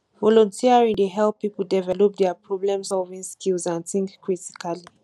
volunteering dey help people develop dia problemsolving skills and think critically